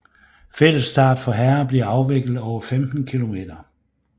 Fællesstart for herrer bliver afviklet over 15 km